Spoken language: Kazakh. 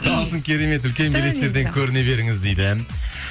дауысың керемет үлкен белестерден көріне беріңіз дейді